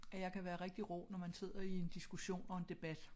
At jeg kan være rigtig rå når man sidder i en diskussion og en debat